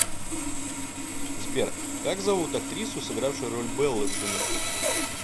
сбер как зовут актрису сыгравшую роль беллы в сумерках